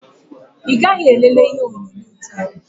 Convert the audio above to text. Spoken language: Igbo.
Ị gaghị elele TV taa?